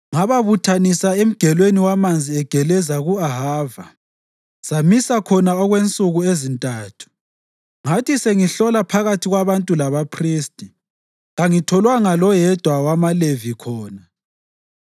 Ngababuthanisa eMgelweni wamanzi agelezela ku-Ahava, samisa khona okwensuku ezintathu. Ngathi sengihlola phakathi kwabantu labaphristi, kangitholanga loyedwa wamaLevi khona.